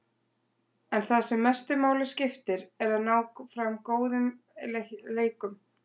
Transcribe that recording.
En það sem mestu máli skiptir er að ná fram góðum leikum.